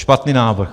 Špatný návrh.